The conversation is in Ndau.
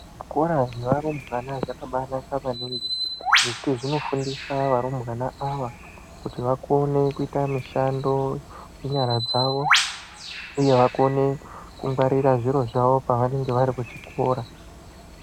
Zvikora zvevarumbwana zvakabanaka maningi, ngekuti zvinofundisa arumbwana ava vakone kuita mishando ngenyara dzavo. Uye vakone kungwarira zviro zvavo pavanenga vari kuchikora.